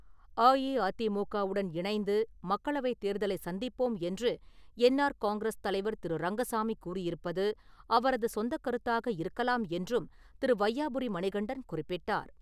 அஇஅதிமுக உடன் இணைந்து மக்களவைத் தேர்தலை சந்திப்போம் என்று என்ஆர் காங்கிரஸ் தலைவர் திரு.ரங்கசாமி கூறியிருப்பது அவரது சொந்தக் கருத்தாக இருக்கலாம் என்றும் திரு.வையாபுரி மணிகண்டன் குறிப்பிட்டார்.